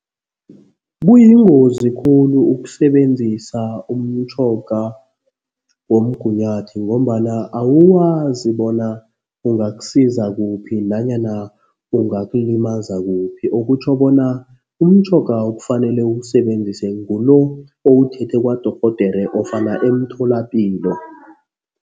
Kuyingozi khulu ukusebenzisa umtjhoga womgunyathi ngombana awuwazi bona ungakusiza kuphi nanyana ungakulimaza kuphi. Okutjho bona umtjhoga okufanele uwubenzise ngulo owuthethe kwadorhodere ofana emtholapilo.